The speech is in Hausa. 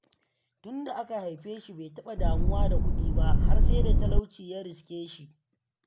Tunda aka haife shi bai taɓa damuwa da kudi ba har sai da talauci ya riskeshi.